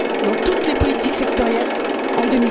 dans toutes les politiques sectorielles